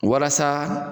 Walasa